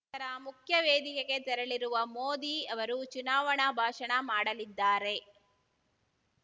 ತರ ಮುಖ್ಯವೇದಿಕೆಗೆ ತೆರಳಲಿರುವ ಮೋದಿ ಅವರು ಚುನಾವಣಾ ಭಾಷಣ ಮಾಡಲಿದ್ದಾರೆ